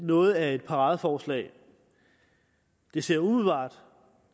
noget af et paradeforslag det ser umiddelbart